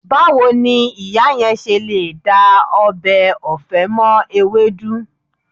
Báwo ni ìyá yẹn ṣe lè da ọbẹ̀ ọ̀fẹ́ mọ́ ewédú?